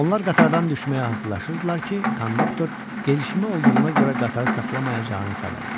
Onlar qatardan düşməyə hazırlaşırdılar ki, konduktor gedişmə olduğuna görə qatarı saxlamayacağını xəbər verdi.